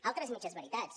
altres mitges veritats